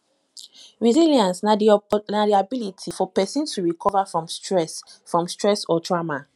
resilience na di ability for person to fit recover from stress from stress or trauma